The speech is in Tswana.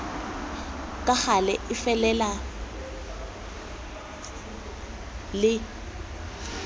ka gale e felele le